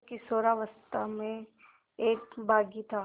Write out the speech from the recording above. जो किशोरावस्था में एक बाग़ी था